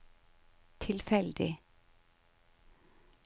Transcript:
tilfeldig